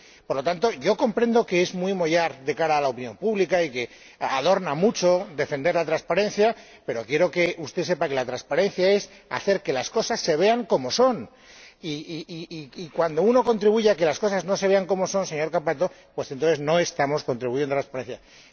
Por lo tanto, comprendo que es muy mollar de cara a la opinión pública y que adorna mucho defender la transparencia, pero quiero que usted sepa que la transparencia es hacer que las cosas se vean como son y, cuando uno contribuye a que las cosas no se vean como son, señor Cappato, entonces no estamos contribuyendo a la transparencia.